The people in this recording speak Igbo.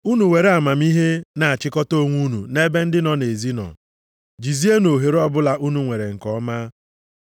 Unu were amamihe na-achịkọta onwe unu nʼebe ndị nọ nʼezi nọ, jizienụ ohere ọbụla unu nwere nke ọma.